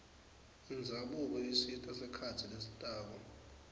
indzabuko isita sikhatsi lesitako